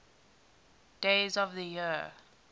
days of the year